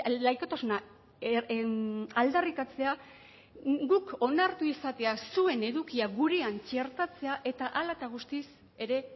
laikotasuna aldarrikatzea guk onartu izatea zuen edukia gurean txertatzea eta hala eta guztiz ere